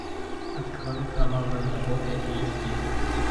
открой кровавая работа эйч ди